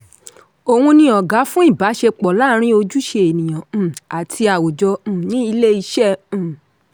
oun ni ọ̀gá fún ìbáṣepọ̀ laarin ojúṣe ènìyàn um àti àwùjọ um ni ilé-iṣẹ́. um